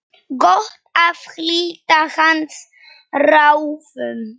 Gott að hlíta hans ráðum.